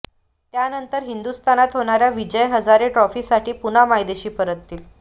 त्यानंतर हिंदुस्थानात होणार्या विजय हजारे ट्रॉफीसाठी पुन्हा मायदेशी परततील